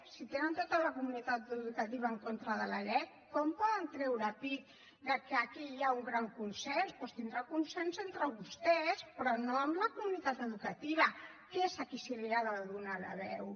si tenen tota la comunitat educativa en contra de la lec com poden treure pit que aquí hi ha un gran consens doncs tindrà consens entre vostès però no amb la comunitat educativa que és a qui se li ha de donar la veu